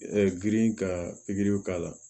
girin ka pikiriw k'a la